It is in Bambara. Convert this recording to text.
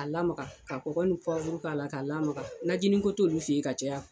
A lamaga ka kɔkɔ ni pwawru k'a lamaga, najinin ko t'olu fɛ yen ka caya.